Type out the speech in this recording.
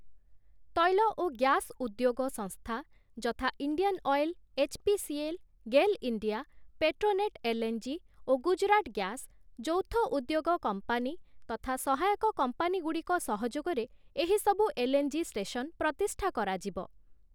ତୈଳ ଓ ଗ୍ୟାସ୍‌ ଉଦ୍ୟୋଗ ସଂସ୍ଥା ଯଥା Indian oil, HPCL, GAIL India, Petronet LNG. ଓ ଗୁଜୁରାଟ ଗ୍ୟାସ୍‌, ଯୌଥ ଉଦ୍ୟୋଗ କମ୍ପାନୀ ତଥା ସହାୟକ କମ୍ପାନୀଗୁଡ଼ିକ ସହଯୋଗରେ ଏହିସବୁ ଏଲ୍‌.ଏନ୍‌.ଜି. ଷ୍ଟେସନ ପ୍ରତିଷ୍ଠା କରାଯିବ ।